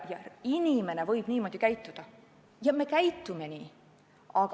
Inimene võib niimoodi käituda, ja me käitumegi nii.